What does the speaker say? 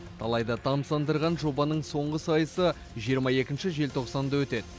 талайды тамсандырған жобаның соңғы сайысы жиырма екінші желтоқсанда өтеді